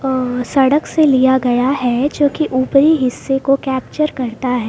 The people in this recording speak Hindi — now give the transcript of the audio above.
और सड़क से लिया गया है जो की ऊपरी हिस्से को कैप्चर करता है।